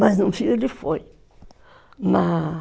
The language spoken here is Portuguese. Mas no fim, ele foi.